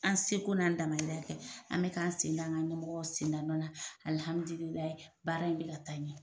An seko n'an damayira kɛ, an mɛ k'an sen da, an ga ɲɛmɔgɔ sen da nɔ na alilhamdula baara in mi ka taa ɲɛ.